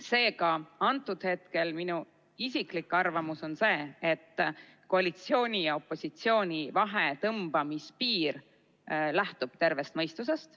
Seega, minu isiklik arvamus on see, et koalitsiooni ja opositsiooni vahel piiri tõmbamine lähtub tervest mõistusest.